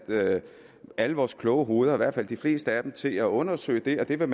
alle vores kloge hoveder eller i hvert fald de fleste af dem til at undersøge det og det vil